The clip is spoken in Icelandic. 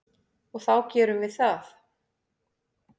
Og þá gerum við það.